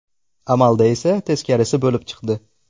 Amalda esa teskarisi bo‘lib chiqdi.